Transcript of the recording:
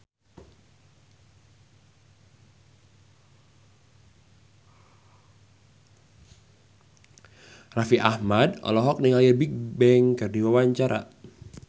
Raffi Ahmad olohok ningali Bigbang keur diwawancara